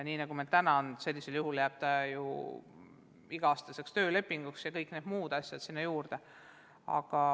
Nii see meil täna on, selliseks jääb ka iga-aastane tööleping ja kõik need muud toetused sinna juurde.